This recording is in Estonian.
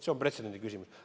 See on pretsedendi küsimus.